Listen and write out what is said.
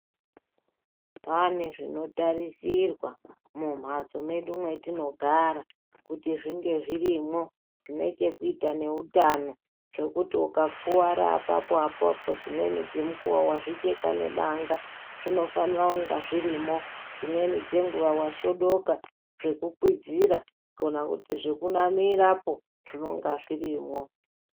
Pane zvinotarisirwa mumhatso mwedu mwetinogara kuti zvinge zvirimwo zvinote kuita neutano. Zvekuti ukakuvara apapo apapo dzimweni dzemukuvo vazvicheka nebanga zvinofanira kunge zvirimwo. Dzimweni dzenguva vasvodoka zvekukwizira kana kuti zvekunamirapo zvinonga zvirimwo.